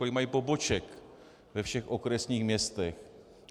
Kolik mají poboček ve všech okresních městech?